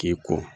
K'i ko